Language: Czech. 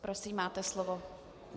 Prosím, máte slovo.